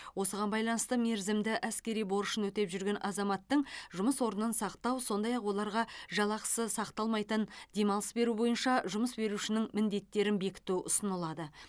осыған байланысты мерзімді әскери борышын өтеп жүрген азаматтың жұмыс орнын сақтау сондай ақ оларға жалақысы сақталмайтын демалыс беру бойынша жұмыс берушінің міндеттерін бекіту ұсынылады